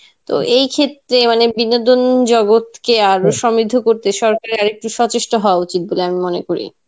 তো এই ক্ষেত্রে মানে বিনোদন জগৎ কে আরও সমৃদ্ধ করতে সরকারের আরেকটু সচেষ্ঠ হওয়া উচিত বলে আমি মনে করি.